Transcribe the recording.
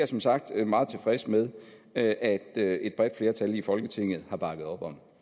som sagt meget tilfreds med at at et bredt flertal i folketinget har bakket op om